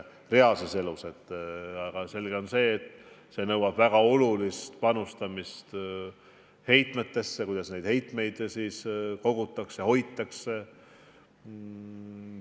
Samas on selge, et see nõuaks väga olulist panustamist heitmetesse, sellesse, kuidas neid kogutakse ja hoitakse.